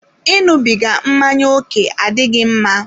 Iṅụbiga mmanya òké adịghị mma.